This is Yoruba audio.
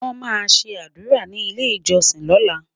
wón má sé ádùrá ní ilẹ ìjósìn lola